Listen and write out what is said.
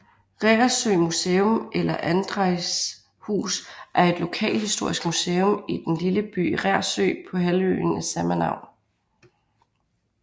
Reersø Museum eller Andræjs hus er et lokalhistorisk museum i den lille by Reersø på halvøen af samme navn